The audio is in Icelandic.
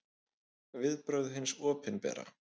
Viðbrögð hins opinbera